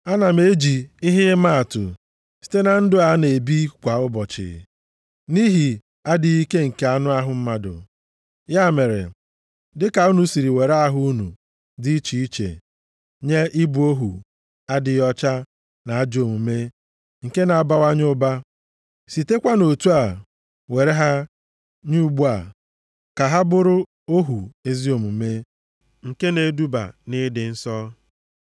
Ana m eji ihe ịmaatụ site na ndụ a na-ebi kwa ụbọchị, nʼihi adịghị ike nke anụ ahụ mmadụ. Ya mere, dịka unu si were ahụ unu dị iche iche nye ịbụ ohu adịghị ọcha na ajọ omume nke na-abawanye ụba, sitekwanụ otu a were ha nye ugbu a ka ha bụrụ ohu ezi omume nke na-eduba nʼịdị nsọ.